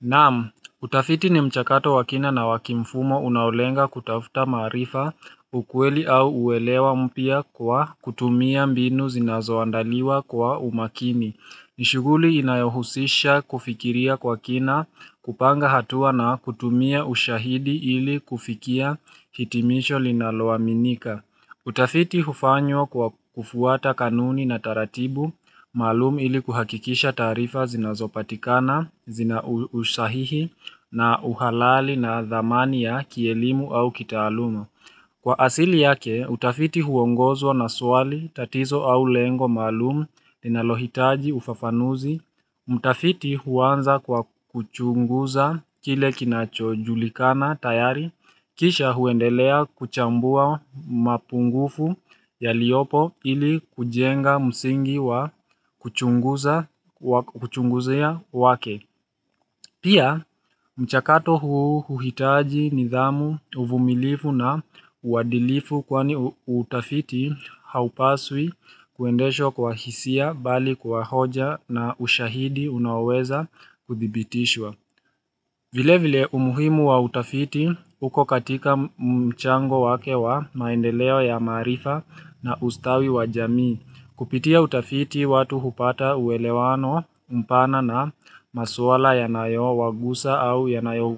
Nam, utafiti ni mchakato wakina na wakimfumo unaolenga kutafuta maarifa ukweli au uelewa mpya kwa kutumia mbinu zinazoandaliwa kwa umakini. Nishughuli inayohusisha kufikiria kwa kina kupanga hatua na kutumia ushahidi ili kufikia hitimisho linaloaminika. Utafiti hufanywa kwa kufuata kanuni na taratibu, maalum ili kuhakikisha taarifa zinazopatikana, zina usahihi na uhalali na dhamani ya kielimu au kitaaluma. Kwa asili yake, utafiti huongozwa na swali tatizo au lengo maalum linalohitaji ufafanuzi. Mtafiti huanza kwa kuchunguza kile kinacho julikana tayari, kisha huendelea kuchambua mapungufu ya liopo ili kujenga msingi wa kuchunguza kwa kuchungizia wake. Pia mchakato huu huhitaji nidhamu uvumilifu na uwadilifu kwani utafiti haupaswi kuendeshwa kwa hisia bali kwa hoja na ushahidi unaoweza kuthibitishwa. Vile vile umuhimu wa utafiti uko katika mchango wake wa maendeleo ya maarifa na ustawi wa jamii. Kupitia utafiti watu hupata uelewano umpana na maswala yanayo wagusa au yanayo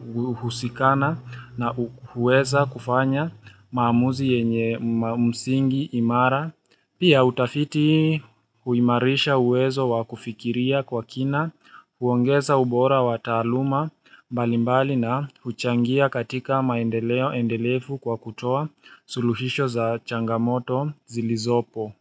husikana na huweza kufanya maamuzi yenye msingi imara. Pia utafiti huimarisha uwezo wakufikiria kwa kina, huongeza ubora wa taaluma mbalimbali na huchangia katika maendeleo endelefu kwa kutoa suluhisho za changamoto zilizopo.